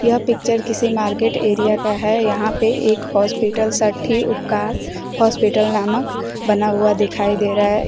यह पिक्चर किसी market area का है यहां पे एक हॉस्पिटल साठी उपकार हॉस्पिटल नामक बना हुआ दिखाई दे रहा है।